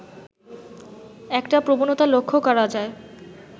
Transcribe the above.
একটা প্রবণতা লক্ষ্য করা যায়